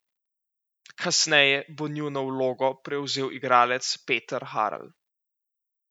Kasneje bo njuno vlogo prevzel igralec Peter Harl.